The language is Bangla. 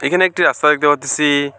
এখানে একটি রাস্তা দেখতে পারতাসি।